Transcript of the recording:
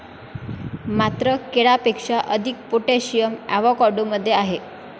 मात्र केळ्यापेक्षा अधिक पोटॅशियम अॅव्होकाडो मध्ये आहे.